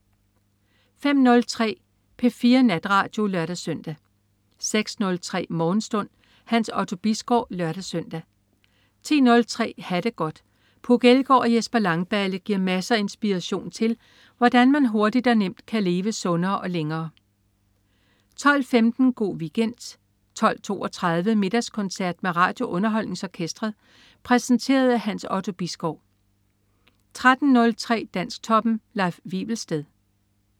05.03 P4 Natradio (lør-søn) 06.03 Morgenstund. Hans Otto Bisgaard (lør-søn) 10.03 Ha' det godt. Puk Elgård og Jesper Langballe giver masser af inspiration til, hvordan man hurtigt og nemt kan leve sundere og længere 12.15 Go' Weekend 12.32 Middagskoncert med RadioUnderholdningsOrkestret. Præsenteret af Hans Otto Bisgaard 13.03 Dansktoppen. Leif Wivelsted